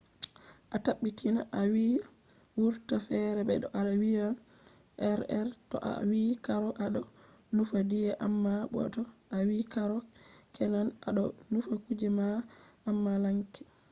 a tabbitina a wi r wurta fere be to a wiyan rr. to a wi karo a ɗo nufa diye amma bo to a wi karro kenan a ɗo nufa kuje bana amalanke